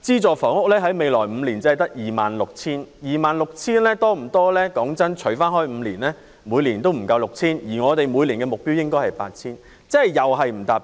但是，未來5年的資助房屋單位只有 26,000 個，除以5年，每年不足 6,000 個，而我們的目標是每年 8,000 個，即又未能達標。